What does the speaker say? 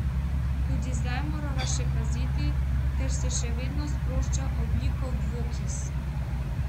Tudi zdaj morava še paziti, ker se še vedno sprošča ogljikov dvokis.